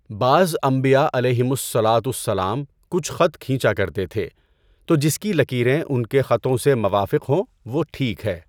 بعض انبیاء علیہِمُ الصَّلاۃُ وَالسّلام کچھ خط کھینچا کرتے تھے، تو جس کی لکیریں ان کے خطوں سے موافق ہوں وہ ٹھیک ہے۔